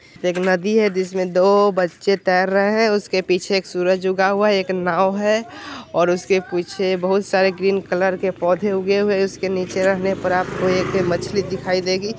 एक नदी है जिसमें दो बच्चे तैर रहे हैं उसके पीछे एक सूरज उगा हुआ है एक नाव है और उसके पीछे बहुत सारे ग्रीन कलर के पौधे उगे हुए है उसके नीचे रहने पर आपको एक मछली दिखाई देगी।